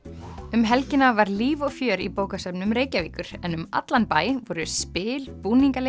um helgina var líf og fjör í bókasöfnum Reykjavíkur en um allan bæ voru spil